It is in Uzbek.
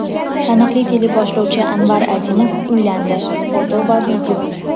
Taniqli teleboshlovchi Anvar Azimov uylandi (foto va video).